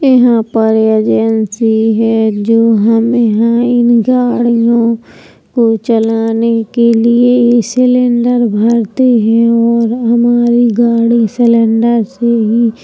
यहाँ पर एजेंसी है जो हमें यहाँ इन गाड़ियों को चलाने के लिए ही सिलिंडर भरती है और हमारी गाड़ी सिलिंडर से ही --